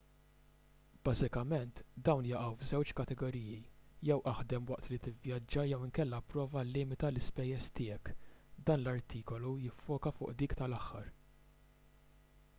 bażikament dawn jaqgħu f'żewġ kategoriji jew aħdem waqt li tivvjaġġa jew inkella ipprova llimita l-ispejjeż tiegħek dan l-artikolu jiffoka fuq dik tal-aħħar